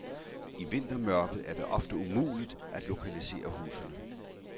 I vintermørket er det ofte umuligt at lokalisere husene.